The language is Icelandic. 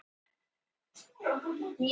Það var hans munaður.